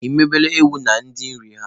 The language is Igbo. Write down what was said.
Ị mebere ewu ndia nri ha?